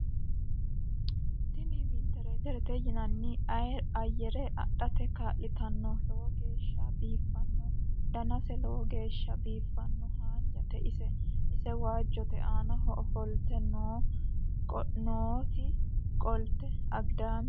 tini wentileetirete yinani ayire adhate kaa'litanno lowo geeshsha biiffannno danase lowo geeshsha biiffanno hanjate ise waajjote aanaho ofolte nooti qolte agidaame